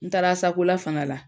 N taara Asakola fana la.